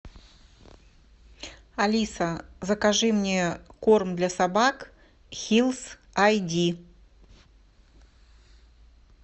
алиса закажи мне корм для собак хилс ай ди